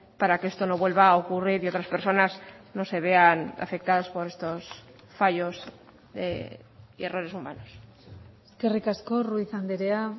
para que esto no vuelva a ocurrir y otras personas no se vean afectadas por estos fallos y errores humanos eskerrik asko ruiz andrea